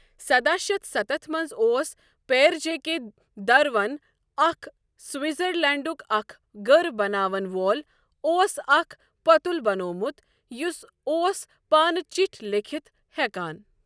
سداہ شیتھ ستتھ مَنٛز اوس پیٔر جیکے دروَن اَکھ سوِٹذَرلینڈُک اَکھ گٔر بَناوَن وول اوس اَکھ پۄتُل بَنومُت، یُس اوس پانہٕ چِٹھؠ لیٖکھِتھ ہێکان۔